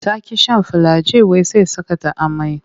Ta ƙi shan filiagin wai sai saka ta amai.